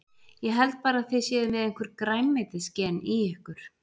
Ég held bara að þið séuð með einhver grænmetisgen í ykkur.